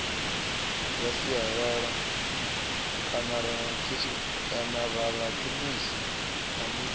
ya sialala kanarakhemisi a ni